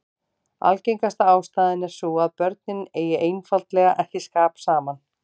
Algengasta ástæðan er sú að börnin eigi einfaldlega ekki skap saman.